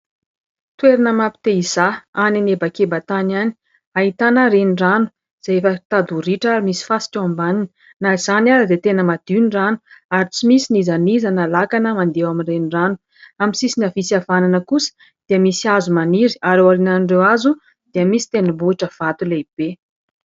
Toerana mapite-hizaha any anebakebantany any. Ahitana renirano izay efa mitady ho ritra misy fasika eo ambaniny. Na izany aza dia tena madio ny rano ary tsy misy n'iza n'iza na lakana mandeha eo amin'ny renirano. Amin'ny sisiny havia sy havanana kosa dia misy hazo maniry ary eo aorinan'ireo hazo dia misy tendrombohitra vato lehibe.